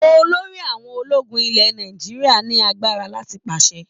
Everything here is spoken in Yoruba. Olórí àwọn ológun ilẹ̀ Nàìjíríà ní agbára láti pàṣẹ.